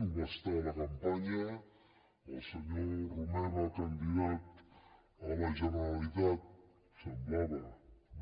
ho va estar a la campanya el senyor romeva candidat a la generalitat semblava